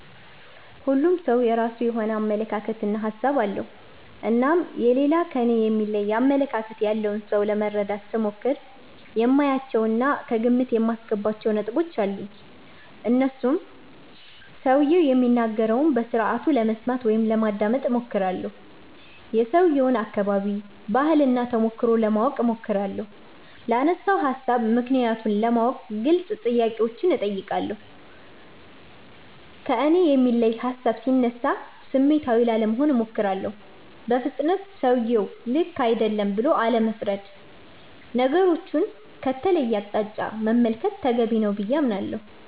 ሁሉም ሠው የራሱ የሆነ አመለካከት እና ሀሣብ አለው። እናም የሌላ ከኔ የሚለይ አመለካከት ያለውን ሠው ለመረዳት ስሞክር የማያቸው እና ከግምት የማስገባቸው ነጥቦች አሉኝ። እነርሱም ሠውየው የሚናገረውን በስርአቱ ለመስማት (ማዳመጥ ) እሞክራለሁ። የሠውየውን አከባቢ፣ ባህል እና ተሞክሮ ለማወቅ እሞክራለሁ። ላነሣው ሀሣብ ምክንያቱን ለማወቅ ግልጽ ጥያቄዎችን አነሣለሁ። ከእኔ የሚለይ ሀሣብ ሢነሣ ስሜታዊ ላለመሆን እሞክራለሁ። በፍጥነት ሠውየው ልክ አይደለም ብሎ አለመፍረድ። ነገሮቹን ከተለየ አቅጣጫ መመልከት ተገቢ ነው ብዬ አምናለሁ።